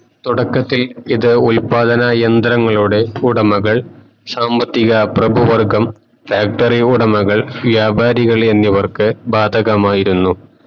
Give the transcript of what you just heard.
തുടക്കത്തിൽ ഇത് ഉത്പാതന യെന്തരങ്ങളുടെ ഉടമകൾ സാമ്പത്തിക ഭ്രാഭു വർഗം factory വ്യാപാരികളി എന്നിവർക്കു ബാധകമായിരുന്നു